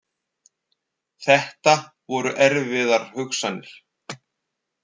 Þetta voru erfiðar hugsanir.